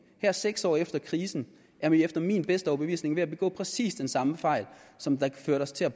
her seks år efter krisen er man efter min bedste overbevisning ved at begå præcis den samme fejl som førte til at